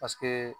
Paseke